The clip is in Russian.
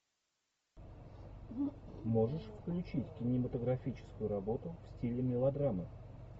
можешь включить кинематографическую работу в стиле мелодрамы